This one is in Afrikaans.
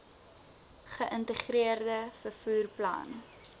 geïntegreerde vervoer plan